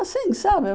Assim, sabe?